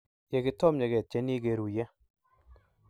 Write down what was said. yekitomnye ketieni keruye